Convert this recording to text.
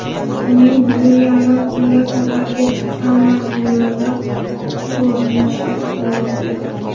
Uning bugun yarim tunda safarga chiqqan manzilida qo‘nishi kutilmoqda.